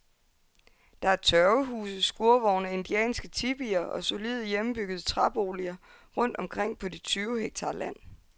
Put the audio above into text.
Der er tørvehuse, skurvogne, indianske tipier og solide, hjemmebyggede træboliger rundt omkring på de tyve hektar land.